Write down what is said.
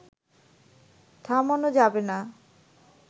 থামানো যাবে না